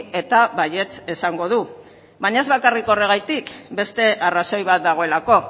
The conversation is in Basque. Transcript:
eta baietz esango du baina ez bakarrik horregatik beste arrazoi bat dagoelako